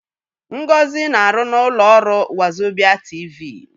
Ngozi na-arụ n'ụlọ ọrụ Wazobịa TV.